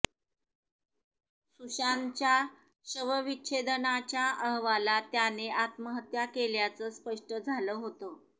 सुशांतच्या शवविच्छेदनाच्या अहवालात त्याने आत्महत्या केल्याचं स्पष्ट झालं होतं